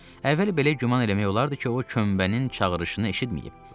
Əvvəl belə güman eləmək olardı ki, o kömbənin çağırışını eşitməyib.